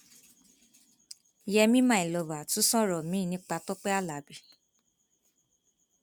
yèmí my lover tún sọrọ miín nípa tọpẹ alábí